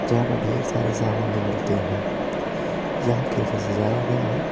यहां पर ढेर सारे सामान मिलते हैं यहां कैफे सजाया गया है।